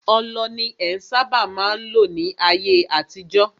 Ọlọ ni en sábà má n lò ní ayé àtijọ́.